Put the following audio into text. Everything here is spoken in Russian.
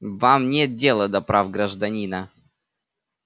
вам нет дела до прав гражданина